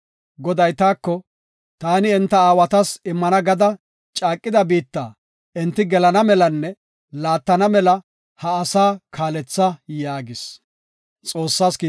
Goday taako, “Taani enta aawatas immana gada caaqida biitta enti gelana melanne laattana mela ha asaa kaaletha” yaagis.